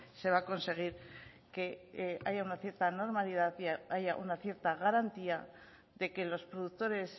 se va a conseguir que haya una cierta normalidad y haya una cierta garantía de que los productores